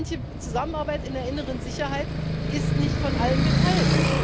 Manche Zusammenarbeit in der inneren Sicherheit wird nicht von allen geteilt.